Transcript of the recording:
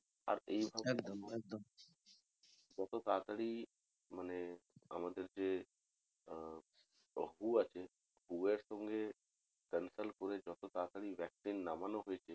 আর যত তাড়াতাড়ি মানে আমাদের যে আহ WHO আছে WHO এর সঙ্গে consult করে যত তাড়াতাড়ি vaccine নামানো হয়েছে